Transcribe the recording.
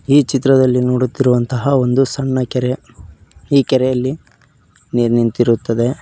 ಈ ಚಿತ್ರದಲ್ಲಿ ನೋಡುತ್ತಿರುವಂತಹ ಒಂದು ಸಣ್ಣ ಕೆರೆ ಈ ಕೆರೆಯಲ್ಲಿ ನೀರ್ ನಿಂತಿರುತ್ತದೆ.